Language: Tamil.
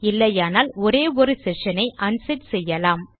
இல்லையானால் ஒரே ஒரு செ ஷனை அன்செட் செய்யலாம்